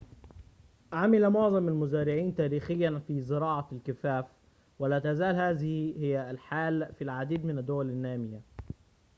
عمل معظم المزارعين تاريخياً في زراعة الكفاف ولا تزال هذه هي الحال في العديد من الدول النامية